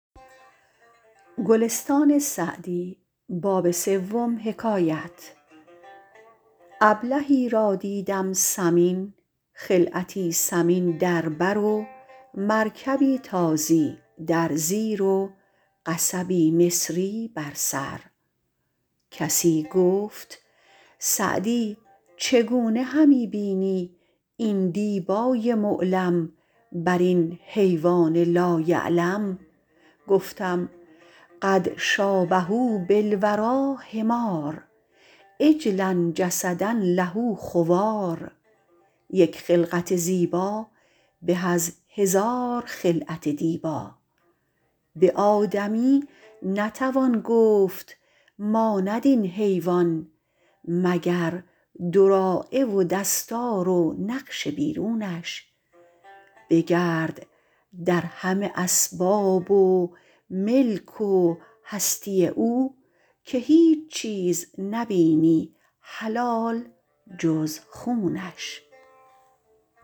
ابلهی را دیدم سمین خلعتی ثمین در بر و مرکبی تازی در زیر و قصبی مصری بر سر کسی گفت سعدی چگونه همی بینی این دیبای معلم بر این حیوان لا یعلم گفتم قد شٰابه بالوریٰ حمار عجلا جسدا له خوار یک خلقت زیبا به از هزار خلعت دیبا به آدمی نتوان گفت ماند این حیوان مگر دراعه و دستار و نقش بیرونش بگرد در همه اسباب ملک و هستی او که هیچ چیز نبینی حلال جز خونش